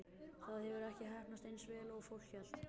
Það hefur ekki heppnast eins vel og fólk hélt.